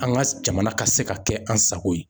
An ka jamana ka se ka kɛ an sago ye.